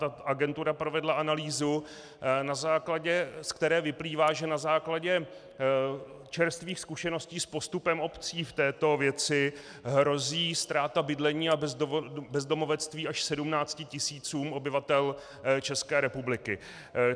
Ta agentura provedla analýzu, ze které vyplývá, že na základě čerstvých zkušeností s postupem obcí v této věci hrozí ztráta bydlení a bezdomovectví až 17 tisícům obyvatel České republiky.